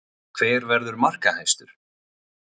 Hver verður markahæstur?